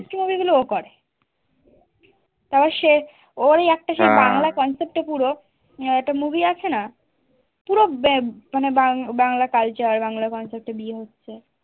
তারা chef ওই একটা সে বাংলা concept এ পুরো একটা movie আছে না পুরো মানে বাংলা culture বাংলা concept এ বিয়ে হচ্ছে